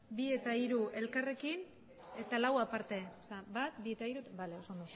bi eta hiru elkarrekin eta lau aparte